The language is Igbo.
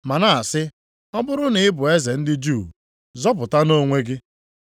ma na-asị, “Ọ bụrụ na ị bụ eze ndị Juu, zọpụtanụ onwe gị.”